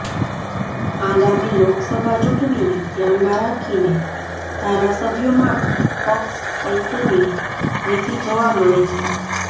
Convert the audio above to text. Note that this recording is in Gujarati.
આગામી લોકસભા ચૂંટણીને ધ્યાનમાં રાખીને ધારાસભ્યોમાં પક્ષ પલટોની નીતિ જોવા મળે છે